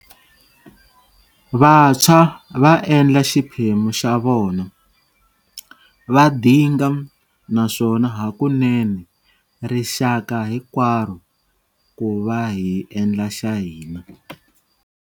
Vantshwa va endla xiphemu xa vona, va dinga, naswona hakunene, rixaka hinkwaro, ku va hi endla xa hina.